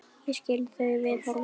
Ég skil þau viðhorf vel.